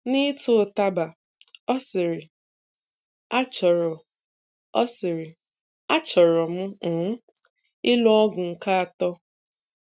N'ịtụ ụtaba, ọ sịrị 'Achọrọ ọ sịrị 'Achọrọ m um ịlụ ọgụ nke atọ.'